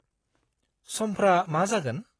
-समफ्रा मा जागोन?